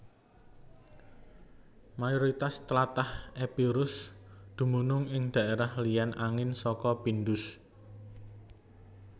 Mayoritas tlatah Epirus dumunung ing dhaérah ilèn angin saka Pindus